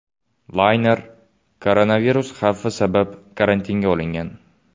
Layner koronavirus xavfi sabab karantinga olingan.